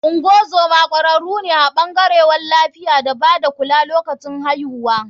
Ngozoma kwararu ne a bangarewn lafiya da bada kula lokacin aihuwa.